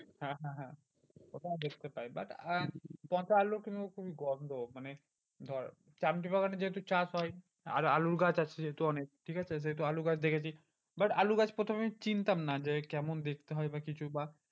ওটা আমি বুঝতে পাই but আহ পচা আলু কিন্তু খুবই গন্ধ। মানে ধর চামতিবাগানে যেহেতু চাষ হয়, আর আলুর গাছ আছে যেহেতু অনেক ঠিকাছে যেহেতু আলু গাছ দেখেছি but আলু গাছ প্রথমে চিনতাম না যে, কেমন দেখতে হয় বা কিছু বা